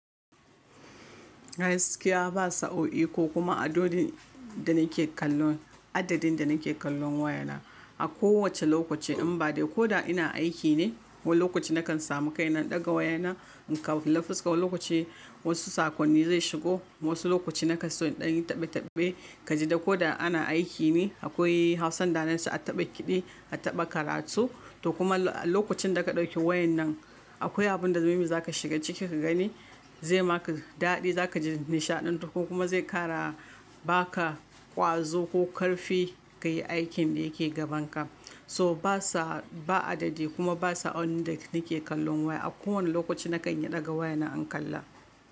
Gaskiya ba sa'o'i ko kuma adadi da nake kallon, adadin da nake kallon wayana. A kowace lokaci in bade ko da ina aiki ne, wani lokaci nakan samu kai na ɗaga wayana in kalla fuska. Wani lokaci wasu sakonni zai shigo, wasu lokaci na kaso ɗan yi tabbetabbane. Kaji da ko da ana aiki ne akwai Hausan da nan su a taɓa kiɗi, a taɓa karatu. To kuma a lokacin da ka ɗauki wayan nan akwai abun da mai mai za ka shiga ciki ka gani, zai ma ka daɗi, za ka ji nishaɗi ko kuma zai ƙara ba ka ƙwazo ko ƙarfi ka yi aikin da yake gaban ka. So basa ba adadi kuma ba saaoin da nake kallon waya. A kowane lokaci na kan iya ɗaga wayana in kalla.